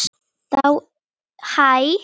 Þá er þessari baráttu lokið.